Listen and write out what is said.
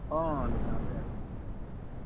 অ দোকানতে আছো।